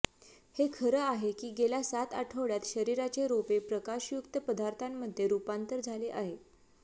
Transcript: हे खरं आहे की गेल्या सात आठवड्यात शरीराचे रोपे प्रकाशयुक्त पदार्थांमध्ये रुपांतर झाले आहे